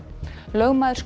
lögmaður